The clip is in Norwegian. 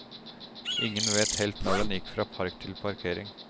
Ingen vet helt når den gikk fra park til parkering.